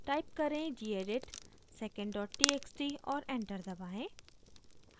type करें: gedit secondtxt और enter दबाएं